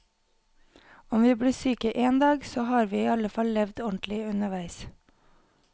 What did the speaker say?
Om vi blir syke en dag, så har vi i alle fall levd ordentlig underveis.